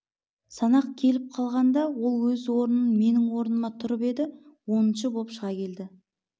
санақ келіп қалғанда ол өз орнынан менің орныма тұрып еді оныншы боп шыға келді